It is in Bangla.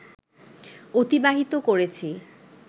অতিবাহিত করেছি